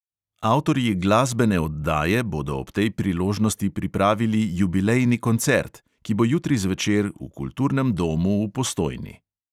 Avtorji glasbene oddaje bodo ob tej priložnosti pripravili jubilejni koncert, ki bo jutri zvečer v kulturnem domu v postojni.